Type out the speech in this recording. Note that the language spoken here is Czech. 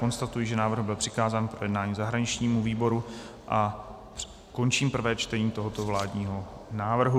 Konstatuji, že návrh byl přikázán k projednání zahraničnímu výboru, a končím prvé čtení tohoto vládního návrhu.